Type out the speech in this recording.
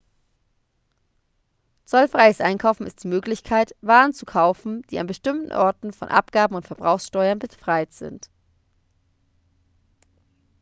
zollfreies einkaufen ist die möglichkeit waren zu kaufen die an bestimmten orten von abgaben und verbrauchssteuern befreit sind